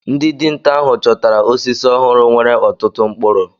Ndị dinta ahụ chọtara osisi ọhụrụ nwere ọtụtụ mkpụrụ